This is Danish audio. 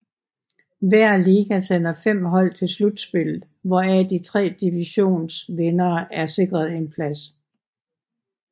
Hver liga sender 5 hold til slutspillet hvoraf de tre divisions vindere er sikret en plads